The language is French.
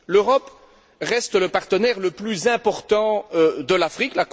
L'Europe reste le partenaire le plus important de l'Afrique.